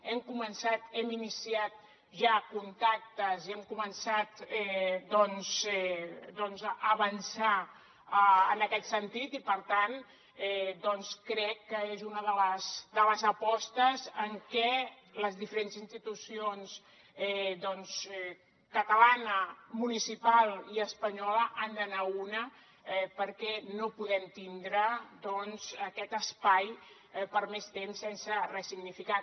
hem començat hem iniciat ja contactes i hem començat doncs a avançar en aquest sentit i per tant crec que és una de les apostes en què les diferents institucions catalana municipal i espanyola han d’anar a una perquè no podem tindre aquest espai per més temps sense ressignificar